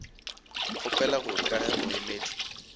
kgopela gore ka ge moemedi